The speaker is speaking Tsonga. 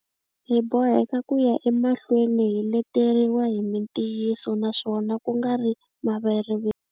Hi boheka ku ya emahlweni hi leteriwa hi mitiyiso naswona ku nga ri maveriveri.